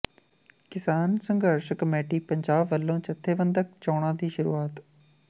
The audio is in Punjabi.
ਕਿਸਾਨ ਸੰਘਰਸ਼ ਕਮੇਟੀ ਪੰਜਾਬ ਵੱਲੋਂ ਜੱਥੇਬੰਦਕ ਚੋਣਾਂ ਦੀ ਸ਼ੁਰੂਆਤ